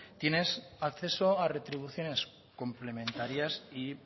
tienes acceso a retribuciones complementarias y